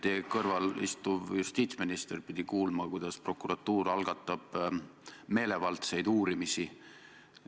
Teie kõrval istuv justiitsminister pidi kuulma, et prokuratuur algatab meelevaldseid uurimisi.